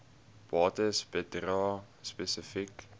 bates bedrae spesifiek